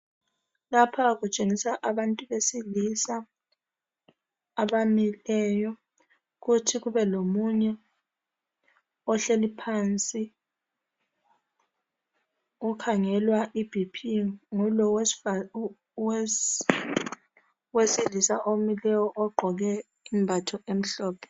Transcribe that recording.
Lapha kutshengisa abantu besilisa abamileyo. Kuthi kubelomunye ohleli phansi okhangelwa ibp ngulo owesilisa omileyo ogqoke imbatho emhlophe.